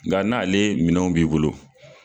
Nka n'ale minɛnw b'i bolo